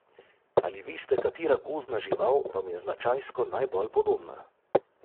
Ali veste, katera gozdna žival vam je značajsko najbolj podobna?